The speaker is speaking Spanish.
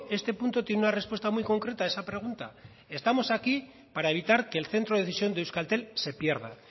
este punto tiene una respuesta muy concreta a esa pregunta estamos aquí para evitar que el centro de decisión de euskaltel se pierda